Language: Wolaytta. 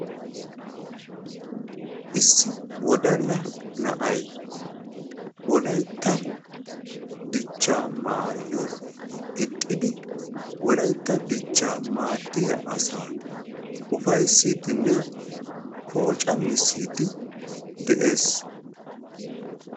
Issi wodala na'ay wolaytta dichchaa maayuwa gixxidi wolaytta dichchaa maaddiya asaa ufayssiidinne pooccammissidi de'ees.